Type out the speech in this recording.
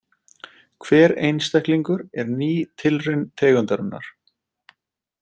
Hver einstaklingur er ný tilraun tegundarinnar.